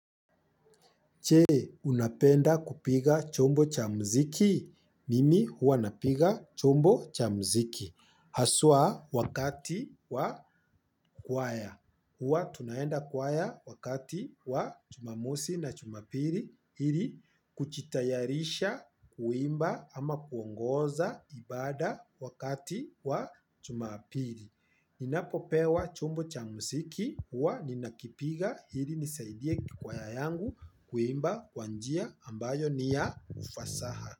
Je? Unapenda kupiga chombo cha muziki? Mimi huwa napiga chombo cha muziki. Haswa wakati wa kwaya. Huwa tunaenda kwaya wakati wa jumamosi na jumapili ili kujitayarisha kuimba ama kuongoza ibada wakati wa jumapili. Ninapopewa chombo cha muziki huwa ninakipiga ili nisaidie kwaya yangu kuimba kwa njia ambayo ni ya ufasaha.